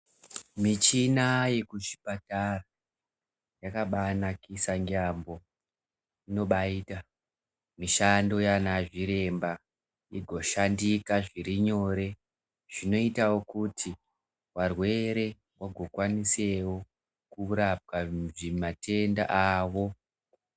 Michina yekuchipatara yakabanakisa ngeambo. Inobayika, mishando yaana zviremba igoshandika zviri nyore, zvinoitawo kuti varwere vagokwanisewo kurapwa matenda avo.